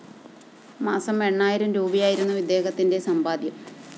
മാസം എണ്ണായിരം രൂപയായിരുന്നു ഇദ്ദേഹത്തിന്റെ സമ്പാദ്യം